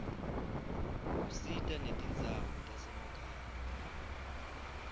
usita netindzawo tasemakhaya